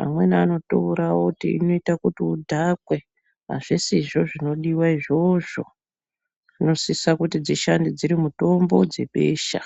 Amweni anoitora oti inoita kuti udhakwe. Azvisizvo zvinodiwa izvozvo. Dzinosisa kuti dzishande dziri mitombo dzebesha.